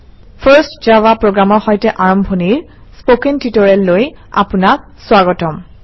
first Java program ৰ সৈতে আৰম্ভণিৰ স্পকেন টিউটৰিয়েললৈ আপোনাক স্বাগতম